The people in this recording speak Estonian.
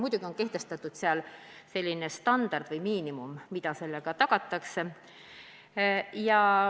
Muidugi on seal kehtestatud standard või miinimum, mis sellega tagatakse.